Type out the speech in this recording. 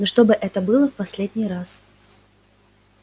но чтобы это было в последний раз